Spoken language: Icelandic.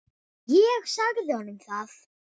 Ég sagði honum það!